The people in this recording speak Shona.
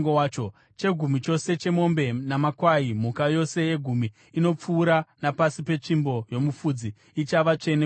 Chegumi chose chemombe namakwai, mhuka yose yegumi inopfuura napasi petsvimbo yomufudzi, ichava tsvene kuna Jehovha.